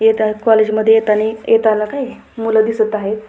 येता कॉलेज मध्ये येतानी येताना काय मुले दिसत आहे.